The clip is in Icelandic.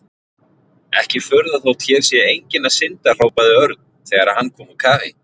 Ekki furða þótt hér sé enginn að synda hrópaði Örn þegar hann kom úr kafi.